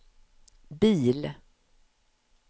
bil